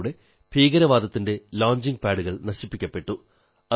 അതിലൂടെ ഭീകരവാദത്തിന്റെ ലോഞ്ചിംഗ് പാഡുകൾ നശിപ്പിക്കപ്പെട്ടു